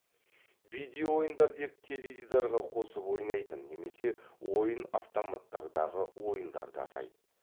видео ойындар деп теледидарға қосып ойнайтын немесе ойын автоматтардағы ойындарды атайды